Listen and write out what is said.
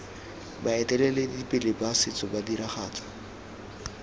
baeteledipele ba setso ba diragatsa